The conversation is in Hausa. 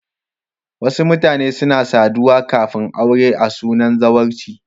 Wasu mutane suna saduwa kafin aure a sunan zawarci.